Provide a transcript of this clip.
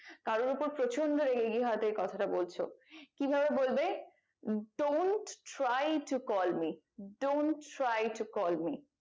কারোর ওপর প্রচন্ড রেগে গিয়ে হয়তো এই কথাটা বলছো কি ভাবে বলবে Dont try to call me Dont try to call me